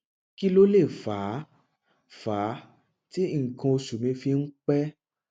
kí ló lè fà á fà á tí nǹkan oṣù mi fi ń pẹ